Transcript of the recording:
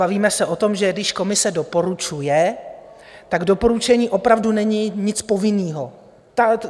Bavíme se o tom, že když komise doporučuje, tak doporučení opravdu není nic povinného.